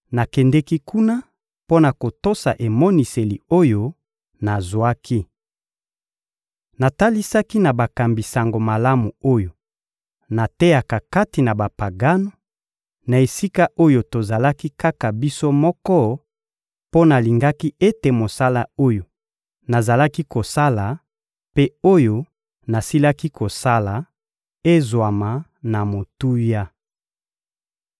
Nakendeki kuna mpo na kotosa emoniseli oyo nazwaki. Natalisaki na bakambi Sango Malamu oyo nateyaka kati na Bapagano, na esika oyo tozalaki kaka biso moko mpo nalingaki ete mosala oyo nazalaki kosala mpe oyo nasilaki kosala ezwama na motuya.